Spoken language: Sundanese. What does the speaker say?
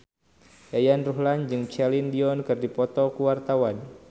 Yayan Ruhlan jeung Celine Dion keur dipoto ku wartawan